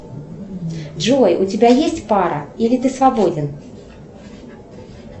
джой у тебя есть пара или ты свободен